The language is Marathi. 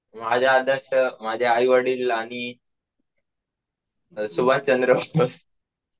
माझी आई वडील आणि सुभाष चंद्र बोस.